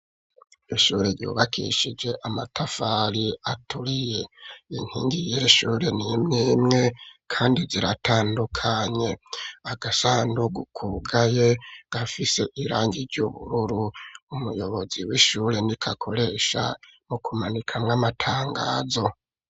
Ishure ryubakishije, amatafari aturiye; inkingi y'iri shure ni imwe imwe, kandi ziratandukanye; agasandugu kugaye, gafise irangi ry'ubururu; umuyobozi w'ishure, niko akoresha, mu kumanikamwo, amatangazo.